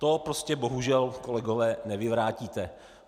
To prostě bohužel, kolegové, nevyvrátíte.